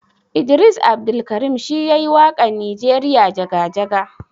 Idris Abdulkarim shi yayi wakan nijeriya jaga-jaga.